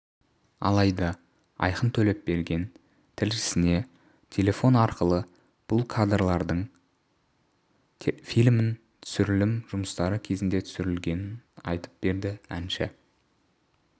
алайда айқын төлепберген тілшісіне телефон арқылы бұл кадрлардың фильмнің түсірілім жұмыстары кезінде түсірілгенін айтып берді әнші